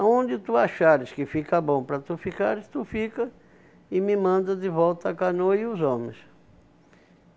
Aonde tu achares que fica bom para tu ficares, tu fica e me mandas de volta a canoa e os homens.